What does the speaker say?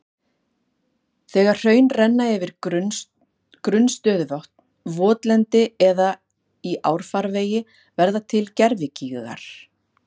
Þegar hraun renna yfir grunn stöðuvötn, votlendi eða í árfarvegi verða til gervigígar.